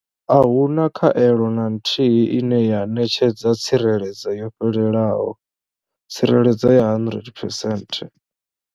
Ahuna khaelo na nthihi ine ya ṋetshedza tsireledzo yo fhelelaho tsireledzo ya 100 percent.